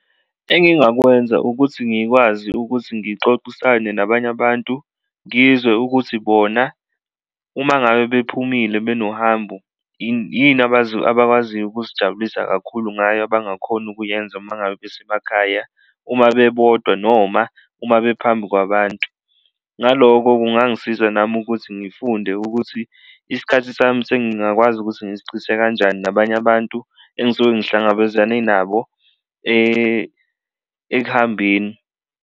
Engingakwenza ukuthi ngikwazi ukuthi ngixoxisane nabanye abantu ngizwe ukuthi bona uma ngabe bephumile benohambo yini abakwaziyo ukuzijabulisa kakhulu ngayo abangakhoni ukuyenza uma ngabe besemakhaya, uma bebodwa noma uma bephambi kwabantu. Ngaloko kungangisiza nami ukuthi ngifunde ukuthi isikhathi sami sengingakwazi ukuthi ngisichithe kanjani nabanye abantu engisuke ngihlangabezane nabo ekuhambeni.